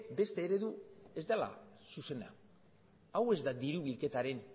beste eredu ez dela zuzena hau ez da diru bilketaren